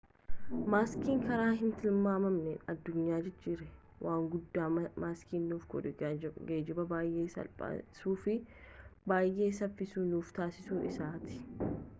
masakni karaa hin tilmaamamneen addunyaa jijjiireeaa waan guddaan masaknii nuuf godhe geejjiba baay'ee salphisuu fi baay'ee saffisaa nuuf taasisuu isaati